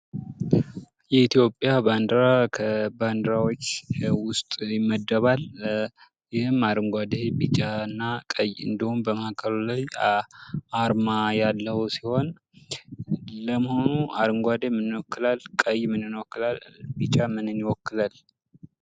የኢትዮጵያ ባንዲራ ከባንዲራዎች ውስጥ ይመደባል ይህም አረንጓዴ ቢጫና ቀይ እንዲሁም በማዕከሉ ላይ አርማ ያለው ሲሆን ለመሆኑ አረንጓዴ ምንን ይወክላል ቀይ ምንን ይወክላል ቢጫ ምንን ይወክላል።